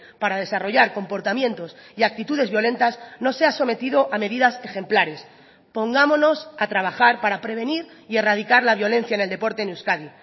para desarrollar comportamientos y actitudes violentas no sea sometido a medidas ejemplares pongámonos a trabajar para prevenir y erradicar la violencia en el deporte en euskadi